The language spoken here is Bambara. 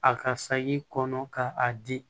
A ka saki kɔnɔ ka a di